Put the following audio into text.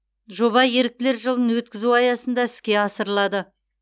жоба еріктілер жылын өткізу аясында іске асырылады